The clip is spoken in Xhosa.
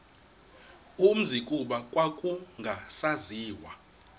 umzi kuba kwakungasaziwa